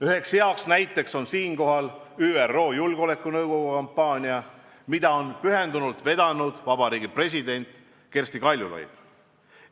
Üks hea näide on siinkohal ÜRO Julgeolekunõukogu ajutiseks liikmeks saamise kampaania, mida on pühendunult vedanud president Kersti Kaljulaid.